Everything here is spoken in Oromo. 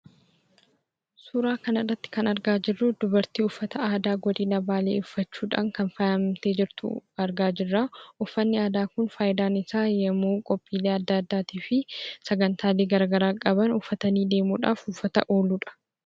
Suura kana irratti kan argaa jirru dubartii uffata aadaa Godina Baalee uffachuudhaan kan baay'ee faayamtee jirtu argaa jirra. Uffanni Kun faayidaan isaa yemmuu qophiilee adda addaa fi sagantaalee adda addaa qaban uffatanii deemuudhaaf kan ooludha.